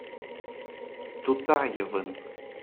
тутаевым